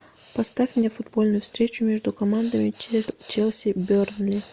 поставь мне футбольную встречу между командами челси бернли